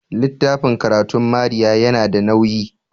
littafin karatun Maria yana da nauyi